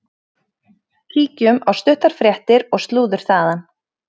Kíkjum á stuttar fréttir og slúður þaðan.